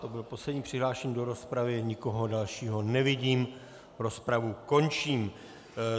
To byl poslední přihlášený do rozpravy, nikoho dalšího nevidím, rozpravu končím.